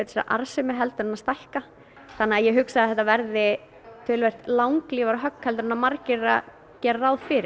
að arðsemi heldur en að stækka þannig að ég hugsa að þetta verði talsvert langlífara högg en margir gera gera ráð fyrir